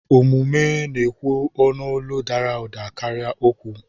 Omume na-ekwu n'olu dara ụda karịa okwu.